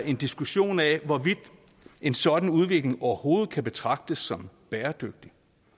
en diskussion af hvorvidt en sådan udvikling overhovedet kan betragtes som bæredygtig